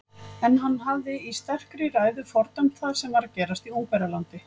En hann hafði í sterkri ræðu fordæmt það sem var að gerast í Ungverjalandi.